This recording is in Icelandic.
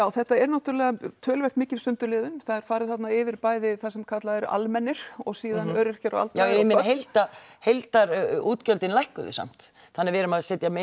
þetta er náttúrlega töluvert mikil sundurliðun það er farið þarna yfir bæði það sem kallað er almennir og síðan öryrkjar og aldraðir já ég meina heildar heildar útgjöldin lækkuðu samt þannig við erum að setja